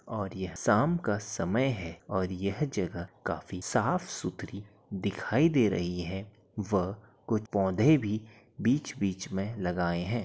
और यह शाम का समय है और यह जगह काफी साफ सूत्री दिखाइ दे रही है व कुछ पौधें भी बीच बीच में लगायें हैं।